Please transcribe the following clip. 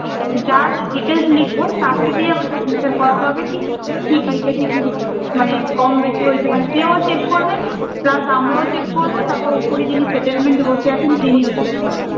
যার Details লিখবো তাকে দিয়ে আবার signature করতে হবে কি ঠিক লিখেছি কি মানে কম বেশি হয়েছে মানে সেও check করবে plus আমরা check করবো তারপর উপরে যিনি settlement এ বসে আছেন তিনিও check করবেন